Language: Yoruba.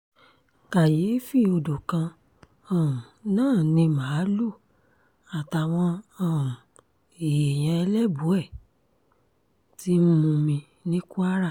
kàyééfì odò kan um náà ni màálùú àtàwọn um èèyàn ẹlẹ́bùẹ́ ti ń mumi ní kwara